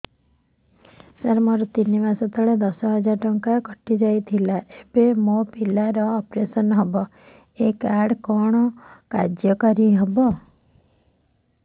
ମୋର ତିନି ମାସ ତଳେ ଦଶ ହଜାର ଟଙ୍କା କଟି ଯାଇଥିଲା ଏବେ ମୋ ପିଲା ର ଅପେରସନ ହବ ଏ କାର୍ଡ କଣ କାର୍ଯ୍ୟ କାରି ହବ